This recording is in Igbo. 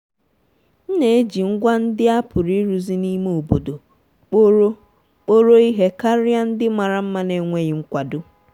otu igwe nwere ike ịrụ ọtụtụ ọrụ na-echekwa ohere na ego.